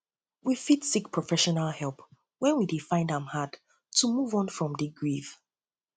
we fit seek professional help when we help when we dey find am hard to move on from di grief